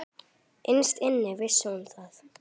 Innst inni vissi hún það.